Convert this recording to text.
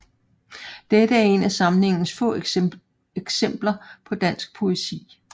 Dette er et af samlingens få eksempler på dansk poesi